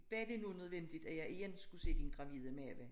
Var det nu nødvendigt at jeg igen skulle se din gravide mave